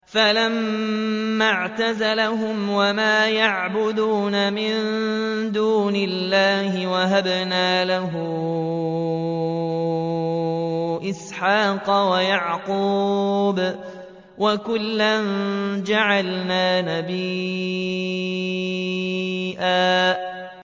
فَلَمَّا اعْتَزَلَهُمْ وَمَا يَعْبُدُونَ مِن دُونِ اللَّهِ وَهَبْنَا لَهُ إِسْحَاقَ وَيَعْقُوبَ ۖ وَكُلًّا جَعَلْنَا نَبِيًّا